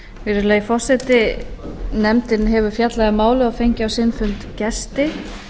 virðulegi forseti nefndin hefur fjallað um málið og fengið á sinn fund gesti